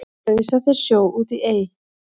ausa þeir sjó út í ey